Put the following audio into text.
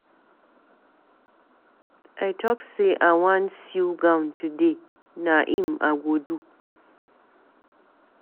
I talk say I wan sew gown today, na im I go do.